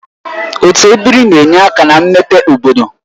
Otu ebiri na-enye aka na mmepe obodo